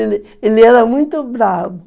Ele, ele era muito bravo.